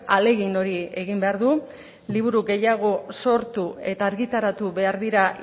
ahalegin hori egin behar du liburu gehiago sortu eta argitaratu behar dira